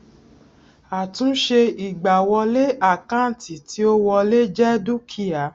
àtúnṣe ìgbàwọlé àkáǹtì tí ó wọlé jẹ dúkìá